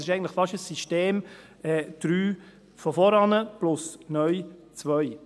Es ist also fast ein wenig ein von vorhin, und neu .